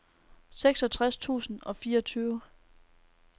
seksogtres tusind og fireogtyve